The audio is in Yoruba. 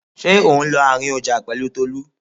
Ṣé ò ń lọ àárín ọjà pẹ̀lú Tolú?